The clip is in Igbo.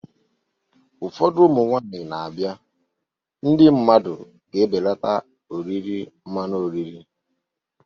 Afọ ụfọdụ na-abịa, ndị mmadụ ga-ebelata oriri mmanụ oriri